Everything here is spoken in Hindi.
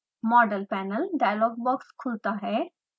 model panel डायलॉग बॉक्स खुलता है